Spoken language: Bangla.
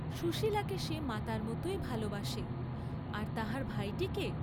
সুশীলাকে সে মাতার মতই ভাল বাসে, আর তাহার ভাইটিকে?